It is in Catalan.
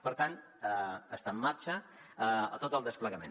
per tant està en marxa tot el desplegament